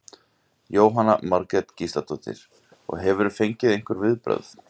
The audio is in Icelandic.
Jóhanna Margrét Gísladóttir: Og hefurðu fengið einhver viðbrögð?